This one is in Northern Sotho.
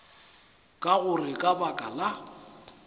ka gore ka baka la